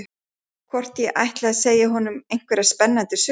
Hvort ég ætli að segja honum einhverja spennandi sögu.